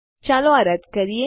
ચાલો આ રદ કરીએ